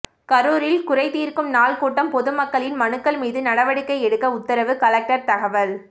கரூரில் குறை தீர்க்கும் நாள் கூட்டம் பொதுமக்களின் மனுக்கள் மீது நடவடிக்கை எடுக்க உத்தரவு கலெக்டர் தகவல்